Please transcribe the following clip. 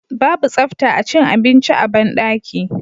babu tsafta acin abinci a banɗaki